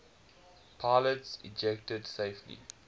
pilots ejected safely